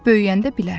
Böyüyəndə bilərsən.